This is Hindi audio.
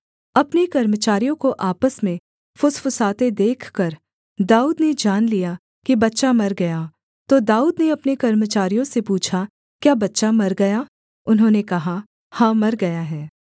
अपने कर्मचारियों को आपस में फुसफुसाते देखकर दाऊद ने जान लिया कि बच्चा मर गया तो दाऊद ने अपने कर्मचारियों से पूछा क्या बच्चा मर गया उन्होंने कहा हाँ मर गया है